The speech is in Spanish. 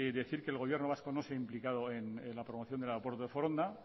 decir que el gobierno vasco no se ha implicado en la promoción del aeropuerto de foronda